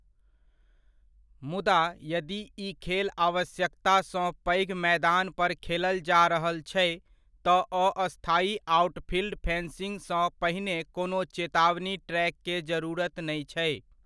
मुदा, यदि ई खेल आवश्यकता सँ पैघ मैदान पर खेलल जा रहल छै, तँ अस्थायी आउटफील्ड फेन्सिङ्ग सँ पहिने कोनो चेतावनी ट्रैक के जरूरति नै छै।